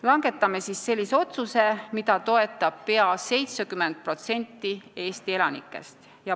Langetame siis sellise otsuse, mida toetab peaaegu 70% Eesti elanikest.